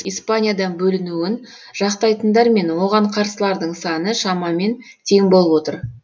испаниядан бөлінуін жақтайтындар мен оған қарсылардың саны шамамен тең болып отыр